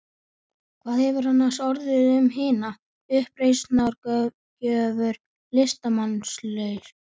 Hvað hefur annars orðið um hina uppreisnargjörnu listamannslund?